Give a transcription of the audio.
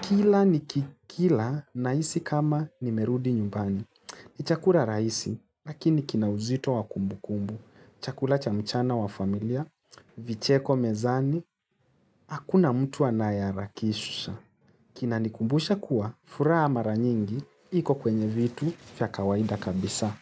Kila nikikila nahisi kama nimerudi nyumbani. Ni chakula rahisi, lakini kina uzito wa kumbukumbu. Chakula cha mchana wa familia, vicheko mezani, hakuna mtu anayeharakisha. Kinanikumbusha kuwa, furaha mara nyingi, iko kwenye vitu vya kawaida kabisa.